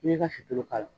I b'i ka suturu k'a la